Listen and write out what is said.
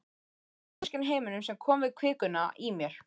Eina manneskjan í heiminum sem kom við kvikuna í mér.